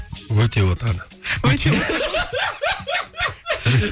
өте отаны